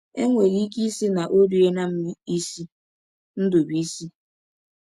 E nwere ike ịsị na ọ riela m isi. ”— Ndụbụisi.